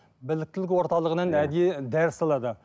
біліктілік орталығанан әдейі дәріс алады